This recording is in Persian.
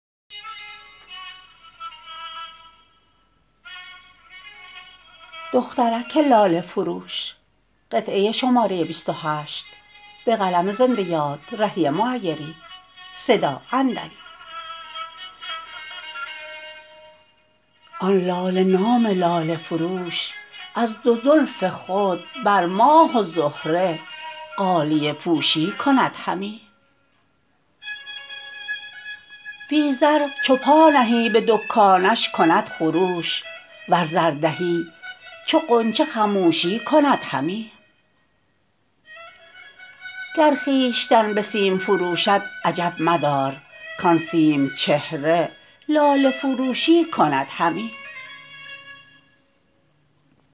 آن لاله نام لاله فروش از دو زلف خود بر ماه و زهره غالیه پوشی کند همی بی زر چو پا نهی به دکانش کند خروش ور زر دهی چو غنچه خموشی کند همی گر خویشتن به سیم فروشد عجب مدار کان سیم چهره لاله فروشی کند همی